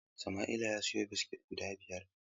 Samaila ya siyo biskit guda biyar.